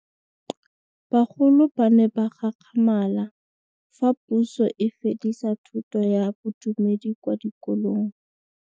Bagolo ba ne ba gakgamala fa Pusô e fedisa thutô ya Bodumedi kwa dikolong.